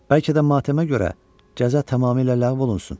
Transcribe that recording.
Bəlkə də matəmə görə cəza tamamilə ləğv olunsun.